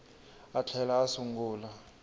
a a tlhela a sungula